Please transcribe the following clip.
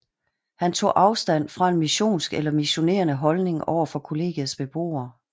Han tog afstand fra en missionsk eller missionerende holdning over for kollegiets beboere